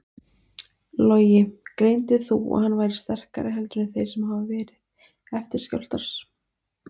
Logi: Greindir þú að hann væri sterkari heldur en þeir sem hafa verið, eftirskjálftar?